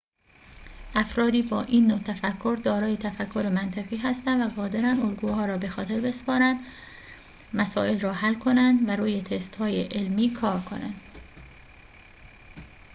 افرادی با این نوع تفکر دارای تفکر منطقی هستند و قادرند الگوها را بخاطر بسپارند مسائل را حل کنند و روی تست‌های علمی کار کنند